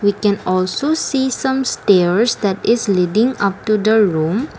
we can also see some stairs that is leading up to the room.